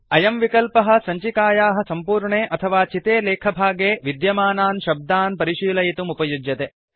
अयं विकल्पः सञ्चिकायाः सम्पूर्णे अथवा चिते लेखभागे विद्यमानान् शब्दान् परिशीलयितुम् उपयुज्यते